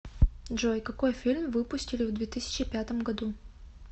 джой какой фильм выпустили в две тысячи пятом году